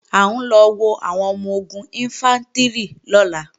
À ń lọ wo àwọn ọmọ-ogun Ìnfántrì lọ́la